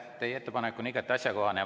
Teie ettepanek on igati asjakohane.